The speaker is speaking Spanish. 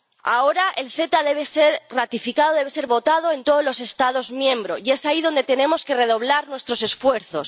Ahora el CETA debe ser ratificado, debe ser votado en todos los Estados miembros y es ahí donde tenemos que redoblar nuestros esfuerzos.